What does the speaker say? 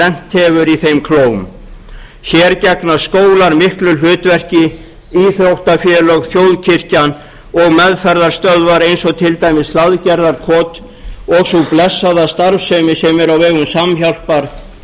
lent hefur í þeim klóm hér gegna skólar miklu hlutverki íþróttafélög þjóðkirkjan og meðferðarstöðvar eins og til dæmis hlaðgerðarkot og sú blessaða starfsemi sem er á vegum samhjálpar